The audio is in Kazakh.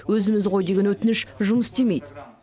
өзіміз ғой деген өтініш жұмыс істемейді